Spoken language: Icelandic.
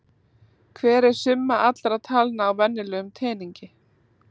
Hver er summa allra talna á venjulegum teningi?